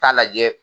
Taa lajɛ